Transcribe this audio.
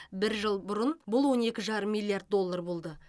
бір жыл бұрын бұл он екі жарым миллиард доллар болды